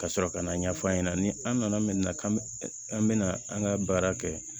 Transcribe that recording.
Ka sɔrɔ ka na ɲɛfɔ a ɲɛna ni an nana min na k'an bɛ an bɛna an ka baara kɛ